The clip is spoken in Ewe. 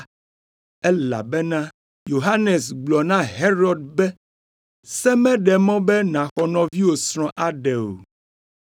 elabena Yohanes gblɔ na Herod be, “Se meɖe mɔ be nàxɔ nɔviwò srɔ̃ aɖe o.”